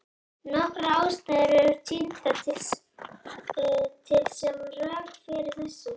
Nokkrar ástæður eru tíndar til sem rök fyrir þessu.